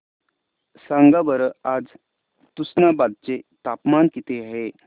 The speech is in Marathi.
सांगा बरं आज तुष्णाबाद चे तापमान किती आहे